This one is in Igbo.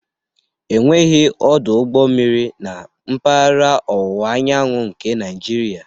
Enweghị ọdụ ụgbọ mmiri na mpaghara ọwụwa anyanwụ nke Naijiria